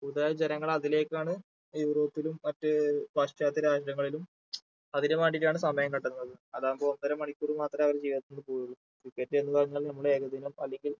കൂടുതലായും ജനങ്ങൾ അതിലേക്കാണ് യൂറോപ്പിലും മറ്റ് ഏർ പാശ്ചാത്യ രാജ്യങ്ങളിലും അതിനു വേണ്ടീട്ടാണ് സമയം കണ്ടെത്തുന്നത് അതാകുമ്പോ ഒന്നര മണിക്കൂർ മാത്രമേ അവരുടെ ജീവിതത്തിൽ നിന്ന് പോവുകയുള്ളൂ cricket എന്ന് പറയുന്നത് നമ്മുടെ ഏകദിനം അല്ലെങ്കിൽ